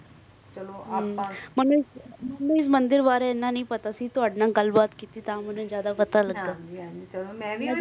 ਅਚਾ ਚਲੋ ਆਪ. ਮੈਨੂੰ ਮੈਨੂੰ ਇਸ ਮੰਦਿਰ ਬਾਰੇ ਇਤਨਾ ਨਹੀਂ ਪਤਾ ਸੀ ਲੇਕਿਨ ਤੁਵਾੜੇ ਨਾਲ ਗੱਲ ਕਰ ਕ ਮਾਲੂਨ ਹੋਇਆ